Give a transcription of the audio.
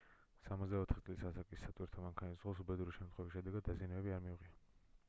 64 წლის ასაკის სატვირთო მანქანის მძღოლს უბედური შემთხვევის შედეგად დაზიანებები არ მიუღია